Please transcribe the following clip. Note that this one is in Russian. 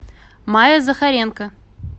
майя захаренко